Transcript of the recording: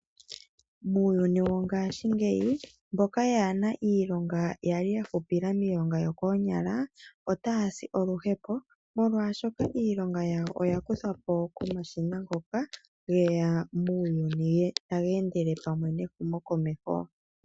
Muuyuni wongaashingeyi mboka yaa na iilonga ya li ya hupila miilonga yokoonyala otaa si oluhepo, molwaashoka iilonga yawo oya kuthwa po komashina ngoka ge ya muuyuni taga endele pamwe nehumokomeho.